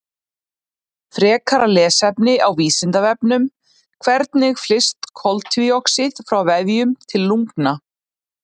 Frekara lesefni á Vísindavefnum: Hvernig flyst koltvíoxíð frá vefjum til lungna?